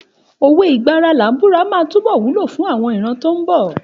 Òwe ìgbà ara làá búra máa túbọ̀ wúlò fún àwọn ìran tó ń bọ̀.